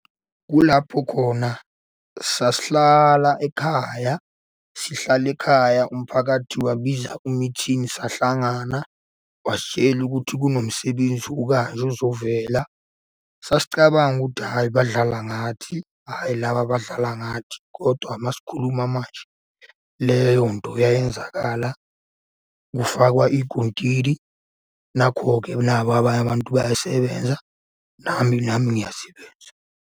Kulapho khona sasihlala ekhaya sihlale ekhaya umphakathi wabiza i-meeting sahlangana. Wasitshela ukuthi kunomsebenzi ukanje uzovela. Sasicabanga ukuthi hhayi badlala ngathi, hhayi laba badlala ngathi, kodwa uma sikhuluma manje leyo nto yayenzakala, kufakwa iy'kontili. Nakho-ke naba abanye abantu bayasebenza, nami nami ngiyasebenza.